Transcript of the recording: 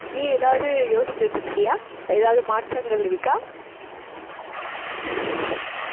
நீ ஏதாவது யோசிச்சு வச்சிருக்கியா ஏதாவது மாற்றங்கள் இருக்கா